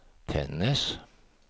Tännäs